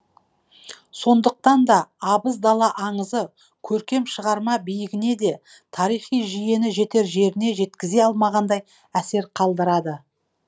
сондықтан да абыз дала аңызы көркем шығарма биігіне де тарихи жүйені жетер жеріне жеткізе алмағандай әсер қалдырды